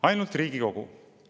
Ainult Riigikogu!